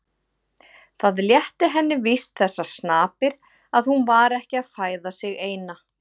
Það létti henni víst þessar snapir að hún var ekki að fæða sig eina.